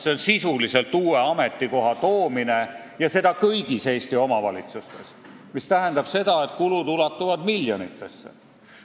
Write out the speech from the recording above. See on sisuliselt uue ametikoha toomine kõigisse Eesti omavalitsustesse, mis tähendab seda, et kulud ulatuvad miljonitesse.